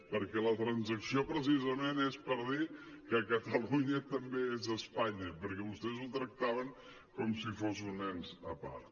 perquè la transacció precisament és per dir que catalunya també és espanya perquè vostès ho tractaven com si fos un ens a part